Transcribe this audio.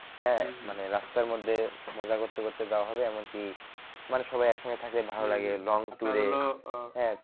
হ্যাঁ মানে রাস্তার মধ্যে মজা করতে করতে যাওয়া হবে এমন কি মানে সবাই একসঙ্গে থাকলে ভালো লাগে long tour এ হ্যাঁ